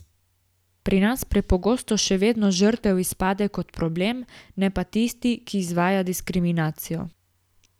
Pri nas prepogosto še vedno žrtev izpade kot problem, ne pa tisti, ki izvaja diskriminacijo.